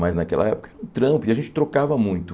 Mas naquela época, Trump, a gente trocava muito.